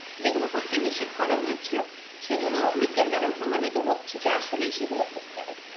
যেগুলো করতে নিষেধ করা হয়েছে সেগুলো বিজ্ঞান দ্বারাও প্রমাণিত হচ্ছে যে আসলেই সেগুলো ক্ষতিকারক